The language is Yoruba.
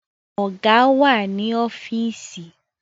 Ọ̀gá wà ní ọ́fíìsì